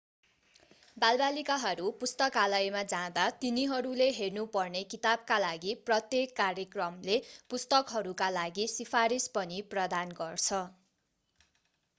बालबालिकाहरू पुस्तकालयमा जाँदा तिनीहरूले हेर्नु पर्ने किताबका लागि प्रत्येक कार्यक्रमले पुस्तकहरूका लागि सिफारिस पनि प्रदान गर्छ